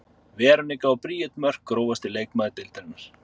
Veronika og Bríet Mörk Grófasti leikmaður deildarinnar?